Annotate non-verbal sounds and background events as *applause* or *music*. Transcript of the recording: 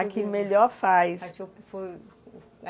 A que melhor faz *unintelligible*